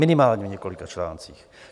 Minimálně v několika článcích.